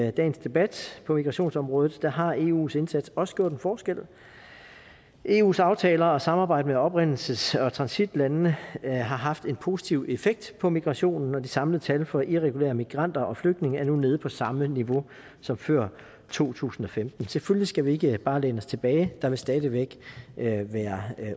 i dagens debat på migrationsområdet har eus indsats også gjort en forskel eus aftaler og samarbejde med oprindelses og transitlandene har haft en positiv effekt på migrationen og det samlede tal for irregulære migranter og flygtninge er nu nede på samme niveau som før to tusind og femten selvfølgelig skal vi ikke bare læne os tilbage der vil stadig væk være være